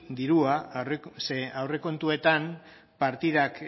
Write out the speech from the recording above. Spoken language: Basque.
dirua ze aurrekontuetan partidak